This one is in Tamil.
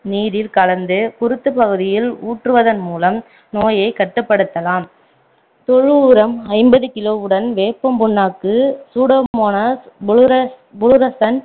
நீரில் கலந்து குருத்துப்பகுதியில் ஊற்றுவதன் மூலம் நோயை கட்டுப்படுத்தலாம் தொழு உரம் ஐம்பது கிலோவுடன் வேப்பம் புண்ணாக்கு சூடோமோனஸ் புளுரசன்ஸ்